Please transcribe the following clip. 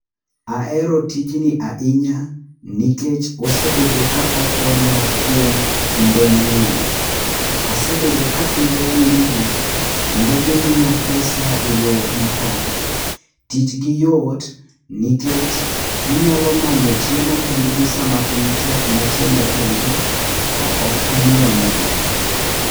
Ahero ahinya nikech osee bedo ka okonya kuom kinde mang'eny. Asebedo ka apidho winygi, kendo gisebet ka gimiya pesa eyo makare. Tijgi yot nikech ginyalo manyo chiemo kendgi sama piny tek machiemo onge, ka ok ang'iewo nigi.